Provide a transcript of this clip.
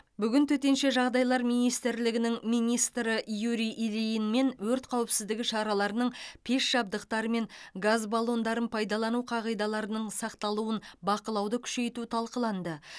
бүгін төтенше жағдайлар министрлігінің министрі юрий ильинмен өрт қауіпсіздігі шараларының пеш жабдықтары мен газ баллондарын пайдалану қағидаларының сақталуын бақылауды күшейту талқыланды